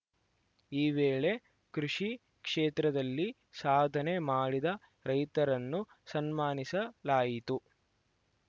ಈ ವೇಳೆ ಕೃಷಿ ಕ್ಷೇತ್ರದಲ್ಲಿ ಸಾಧನೆ ಮಾಡಿದ ರೈತರನ್ನು ಸನ್ಮಾನಿಸಲಾಯಿತು